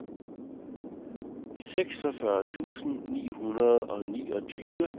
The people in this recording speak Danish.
seksogfyrre tusind ni hundrede og niogtyve